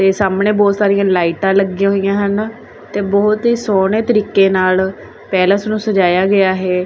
ਤੇ ਸਾਹਮਣੇ ਬੋਹਤ ਸਾਰੀਆਂ ਲਾਈਟਾਂ ਲੱਗੀਆਂ ਹੋਈਆਂ ਹਨ ਤੇ ਬੋਹੁਤ ਹੀ ਸੋਹਣੇ ਤਰੀਕੇ ਨਾਲ ਪੈਲੇਸ ਨੂੰ ਸਜਾਇਆ ਗਿਆ ਹੈ।